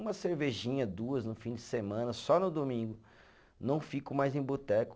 Uma cervejinha, duas no fim de semana, só no domingo, não fico mais em boteco.